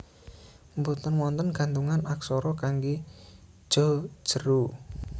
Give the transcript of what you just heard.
Mboten wonten gantungan aksara kanggé Ja jera